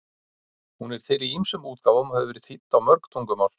Hún er til í ýmsum útgáfum og hefur verið þýdd á mörg tungumál.